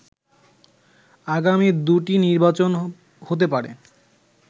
আগামী দুটি নির্বাচন হতে পারে